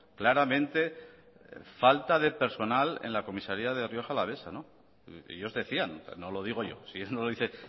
claramente falta de personal en la comisaría de rioja alavesa ellos decían no lo digo yo sí eso no lo dice